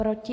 Proti?